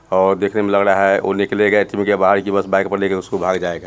और देखने में लग रहा है ओह्ह निकलेगा उसके बाहर कि बस बाइक पे लेकर भाग जायेगा |